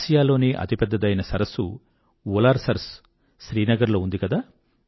ఆసియాలోనే అతిపెద్దదైన సరస్సు శ్రీనగర్ లో ఉంది కదా